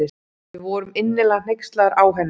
Við vorum innilega hneykslaðar á henni.